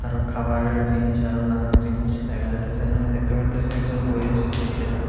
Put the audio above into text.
আরো খাবারের জিনিস আরো নানান জিনিস দেখা যাইতাসে যেমন আমি দ্যাখতে পারতাসি একজন বইয়ে রইসে বিক্রেতা।